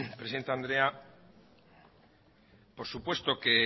presidente andrea por supuesto